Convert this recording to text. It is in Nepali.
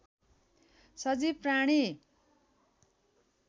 सजीव प्राणी